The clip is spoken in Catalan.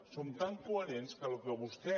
som tan coherents que el que vostè